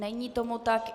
Není tomu tak.